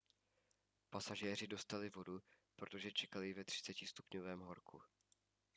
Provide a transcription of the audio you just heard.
pasažéři dostali vodu protože čekali ve 30° horku